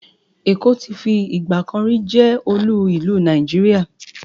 Èkó ti fi ìgbàkanrí jẹ́ olú ìlú Nàìjíríà.